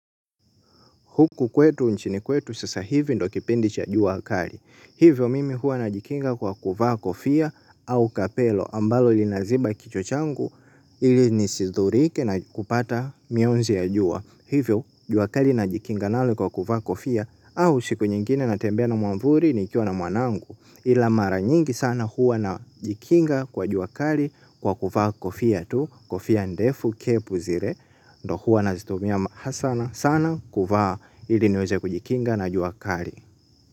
Huku kwetu, nchini kwetu, sasa hivi ndiyo kipindi cha jua kali. Hivyo mimi huwa najikinga kwa kuvaa kofia au kapelo ambalo linaziba kichwa changu ili nisidhurike na kupata mionzi ya jua. Hivyo jua kali najikinga nalo kwa kuvaa kofia au siku nyingine natembea na mwavuli nikiwa na mwanangu. Ila mara nyingi sana huwa najikinga kwa jua kali kwa kuvaa kofia tu, kofia ndefu, kepu zile. Ndiyo huwa nazitumia sana sana kuvaa ili niweze kujikinga na jua kali.